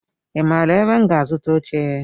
I maara ebe m ga-azuta oche?